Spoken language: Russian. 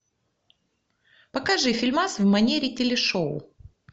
покажи фильмас в манере телешоу